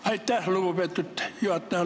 Aitäh, lugupeetud juhataja!